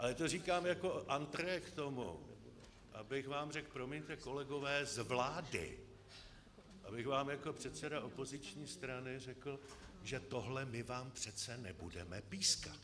Ale to říkám jako entrée k tomu, abych vám řekl, promiňte, kolegové z vlády, abych vám jako předseda opoziční strany řekl, že tohle my vám přece nebudeme pískat.